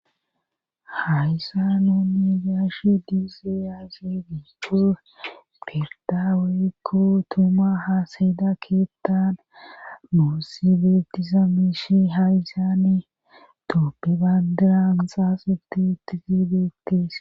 Hayssan tani be'ashe diyayssi aaze giiko pirdda woykko tuma hasayida keeththan nuusi beetiza mishi hayssani tophe bandiran xaaxeti utidi beetees.